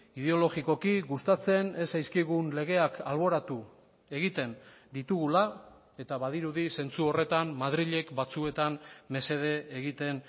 ideologikoki gustatzen ez zaizkigun legeak alboratu egiten ditugula eta badirudi zentzu horretan madrilek batzuetan mesede egiten